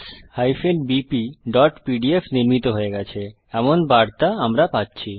maths bpপিডিএফ নির্মিত হয়ে গেছে এমন বার্তা আমরা পাচ্ছি